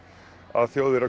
að Þjóðverjar